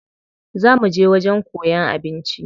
Za muje wajen koyan abinci.